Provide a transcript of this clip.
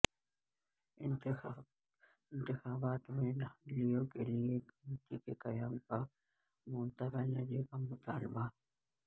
انتخابات میں دھاندلیوں کیلئے کمیٹی کے قیام کا ممتا بنرجی کا مطالبہ